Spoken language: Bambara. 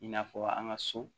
I n'a fɔ an ka so